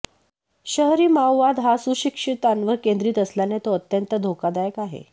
शहरी माओवाद हा सुशिक्षितांवर केंद्रीत असल्याने तो अत्यंत धोकादायक आहे